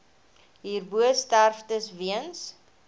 hierbo sterftes weens